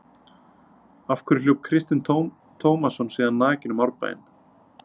Af hverju hljóp Kristinn Tómasson síðan nakinn um Árbæinn?